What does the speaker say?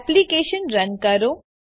application run કરો